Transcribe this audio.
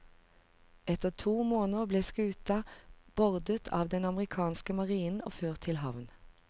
Etter to måneder ble skuta bordet av den amerikanske marinen og ført til havn.